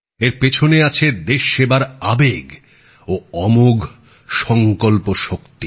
এর পেছনে আছে দেশসেবার আবেগ ও অমোঘ সংকল্পশক্তি